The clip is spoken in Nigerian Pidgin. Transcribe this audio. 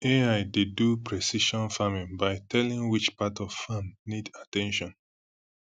ai dey do precision farming by telling which part of farm need at ten tion